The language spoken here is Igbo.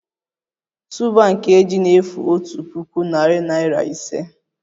Tuuba nke ji na-efu otu puku, narị naịra ise